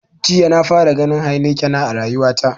Jiya na fara ganin heinekena a rayuwa ta.